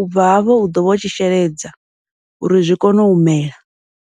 ubva hafho u ḓovha u tshi sheledza uri zwi kone u mela.